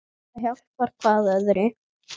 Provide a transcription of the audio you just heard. Það hjálpar hvað öðru.